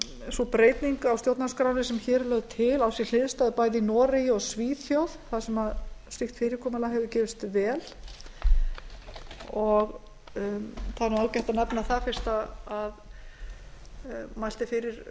sú breyting á stjórnarskránni sem hér er lögð til á sér hliðstæðu bæði í noregi og svíþjóð þar sem slíkt fyrirkomulag hefur gefist vel það er ágætt að nefna það fyrst